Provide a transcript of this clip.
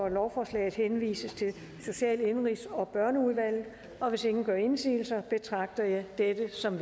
at lovforslaget henvises til social indenrigs og børneudvalget og hvis ingen gør indsigelse betragter jeg dette som